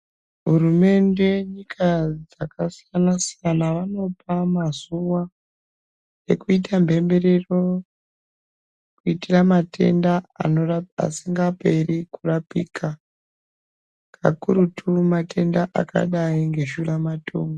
Hurumende nyika dzakasiyana siyana dzinopa mazuva ekuita mhemberero kuitira matenda asingaperi kurapika pakurutu matenda akadai neshuramatongo.